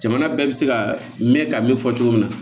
Jamana bɛɛ bɛ se ka mɛn ka min fɔ cogo min na